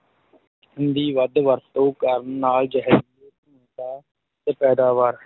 ਦੀ ਵਰਤੋਂ ਕਰਨ ਨਾਲ ਜਹਿਰੀਲੇ ਧੂੰਏ ਦਾ ਤੇ ਪੈਦਾਵਾਰ।